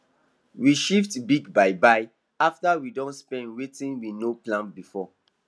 we shift big buy buy after we don spend watin we no plan before